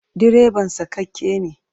Direban sakakke ne.